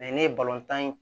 ne ye tan ye